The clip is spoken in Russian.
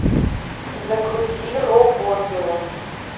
загрузи рок оперу